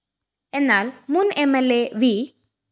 എന്നാല്‍ മുന്‍ M L A V